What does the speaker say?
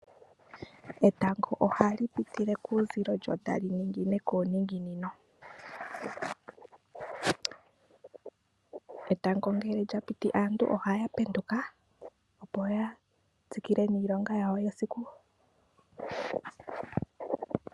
Etango ohali pitile kuuzilo lyo tali ningine kuuninginino. Etango ngele lya piti aantu ohaya penduka opo ya tsikile niilonga yawo yesiku.